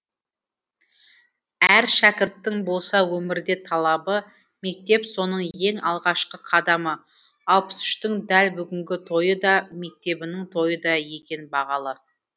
әр шәкірттің болса өмірде талабы мектеп соның ең алғашқы қадамы алпыс үштің дәл бүгінгі тойы да мектебінің тойы да екен бағалы